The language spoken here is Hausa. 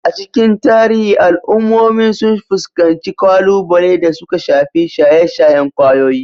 A cikin tarihi, al'ummomi sun fuskanci kalubale da suka shafi shaye-shayen kwayoyi,